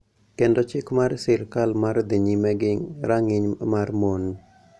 Kendo chik mar sirkal mar dhi nyime gi rang�iny mar mon.